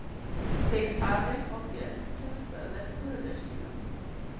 Þeir Ari og Björn hjálpuðu föður sínum.